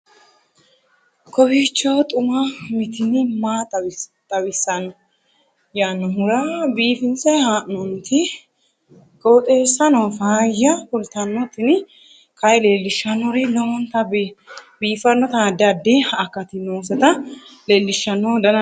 kowiicho xuma mtini maa xawissanno yaannohura biifinse haa'noonniti qooxeessano faayya kultanno tini kayi leellishshannori lowonta biiffinota addi addi akati nooseta lellishshanno dana duume